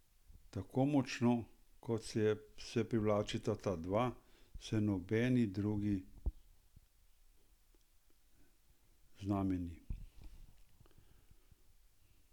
Tako močno, kot se privlačita ta dva, se nobeni drugi znamenji.